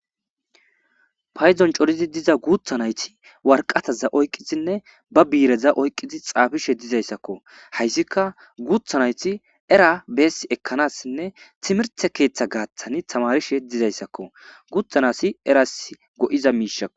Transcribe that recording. Payzon corizi diza guutha nayti warqataza oyqqisinne ba biireza oyqqizi xaafishe dizayssakko hayssika guutha nayti era beess ekkanassinne timirte keeththa gaaththani tamarishe dizayssakko guuthanasi eras go7iza miishakko.